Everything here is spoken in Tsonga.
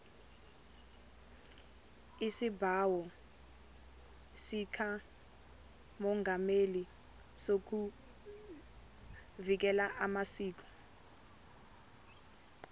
isibawo sikamongameli sokuvikela amasiko